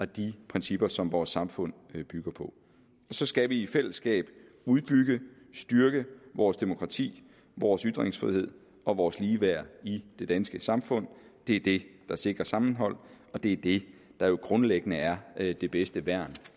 de principper som vores samfund bygger på så skal vi i fællesskab udbygge styrke vores demokrati vores ytringsfrihed og vores ligeværd i det danske samfund det er det der sikrer sammenhold og det er det der jo grundlæggende er det det bedste værn